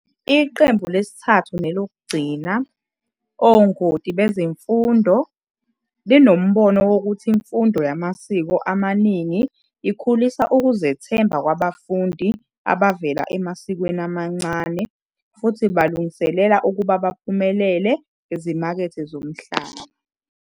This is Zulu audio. Iqembu lesithathu nelokugcina, ongoti bezemfundo, linombono wokuthi imfundo yamasiko amaningi ikhulisa ukuzethemba kwabafundi abavela emasikweni amancane futhi ibalungiselela ukuba baphumelele ezimakethe zomhlaba